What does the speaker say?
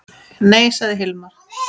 Nei, sagði Hilmar.